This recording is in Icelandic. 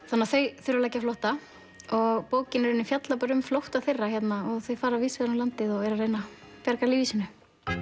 þannig að þau þurfa að leggja á flótta og bókin fjallar um flótta þeirra þau fara víðs vegar um landið og reyna að bjarga lífi sínu